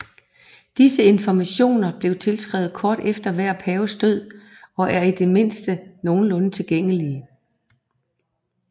Disse informationer blev indskrevet kort efter hver paves død og er i det mindste nogenlunde tilregnlige